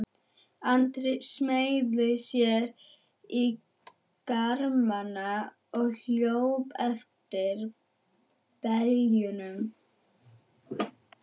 Andri smeygði sér í garmana og hljóp eftir beljunum.